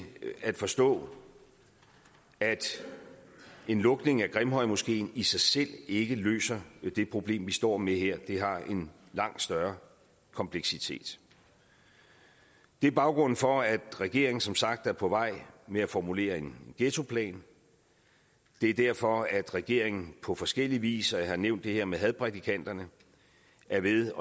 at forstå at en lukning af grimhøjmoskeen i sig selv ikke løser det problem vi står med her det har en langt større kompleksitet det er baggrunden for at regeringen som sagt er på vej med at formulere en ghettoplan det er derfor regeringen på forskellig vis og jeg har nævnt det her med hadprædikanterne er ved